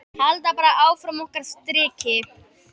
Halda bara áfram okkar striki.